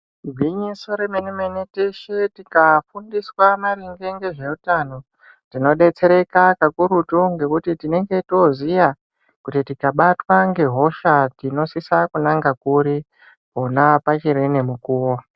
Igwinyiso remene-mene, teshe tikafundiswa maringe ngezveutano , tinodetsereka kakurutu ngekuti tinenge toziya, kuti tikabatwa ngehosha tinosisa kunanga kuri pona pachiri nemukuwo.